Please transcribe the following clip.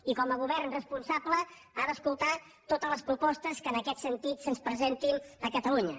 i com a govern responsable ha d’escoltar totes les propostes que en aquest sentit se’ns presentin a catalunya